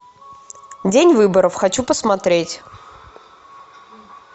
день выборов хочу посмотреть